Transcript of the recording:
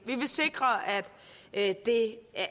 vi vil sikre at det er